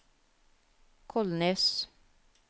Kolnes